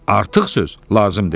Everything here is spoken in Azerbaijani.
Artıq söz lazım deyil."